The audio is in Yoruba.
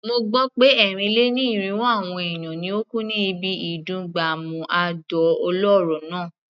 Mo gbó pé ẹ́rìn-lé-ní-irínwó àwọn èèyàn ni ó kú ní ibi ìdún gbàmù àdó olóró náà.